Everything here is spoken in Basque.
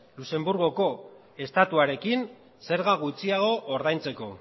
luxemburgoko estatuarekin zerga gutxiago ordaintzeko